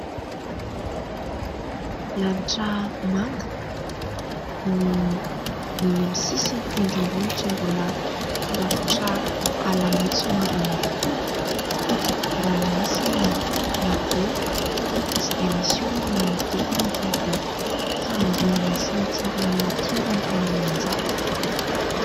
Lanitra manga, ny eny amin'ny sisin'ny tendrombohitra mbola rakotra ala maitso mavana tokoa. Ranomasina madio tsy dia misy olona manodidina fa dia fahanginana sy ny hatsaran'ny natiora no tena manjaka.